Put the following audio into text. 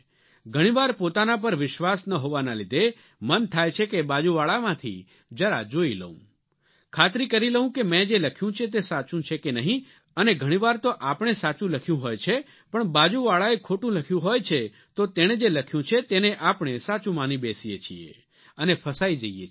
ઘણી વાર પોતાના પર વિશ્વાસ ન હોવાના લીધે મન થાય છે કે બાજુવાળામાંથી જરા જોઇ લઉં ખાતરી કરી લઉં કે મેં જે લખ્યું છે તે સાચું છે કે નહીં અને ઘણી વાર તો આપણે સાચું લખ્યું હોય છે પણ બાજુવાળાએ ખોટું લખ્યું હોય છે તો તેણે જે લખ્યું છે તેને આપણે સાચું માની બેસીએ છીએ અને ફસાઇ જઇએ છીએ